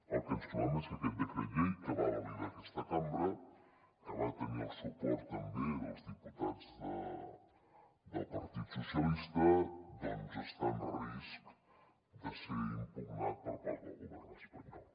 el que ens trobem és que aquest decret llei que va validar aquesta cambra que va tenir el suport també dels diputats del partit dels socialistes doncs està en risc de ser impugnat per part del govern espanyol